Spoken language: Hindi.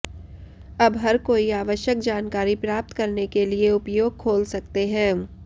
अब हर कोई आवश्यक जानकारी प्राप्त करने के लिए उपयोग खोल सकते हैं